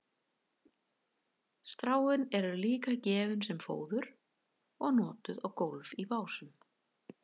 stráin eru líka gefin sem fóður og notuð á gólf í básum